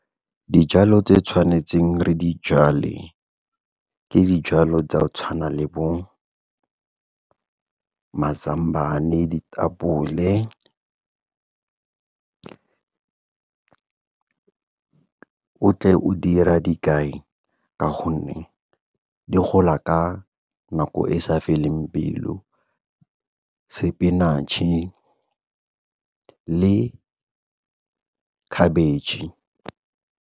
Dijalo tse tshwanetseng re di jale, ke dijalo tsa go tshwana le bo mazambane, ditapole o tle o dira dikai ka gonne di gola ka nako e sa feleng pelo, sepinatšhe le khabetšhe.